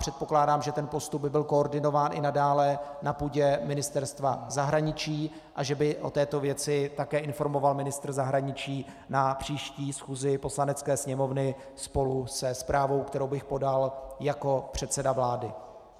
Předpokládám, že ten postup by byl koordinován i nadále na půdě Ministerstva zahraničí a že by o této věci také informoval ministr zahraničí na příští schůzi Poslanecké sněmovny spolu se zprávou, kterou bych podal jako předseda vlády.